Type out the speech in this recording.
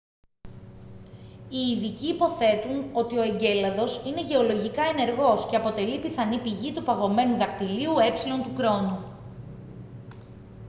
οι ειδικοί υποθέτουν ότι ο εγκέλαδος είναι γεωλογικά ενεργός και αποτελεί πιθανή πηγή του παγωμένου δακτυλίου ε του κρόνου